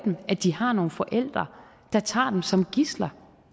at de har nogle forældre der tager dem som gidsler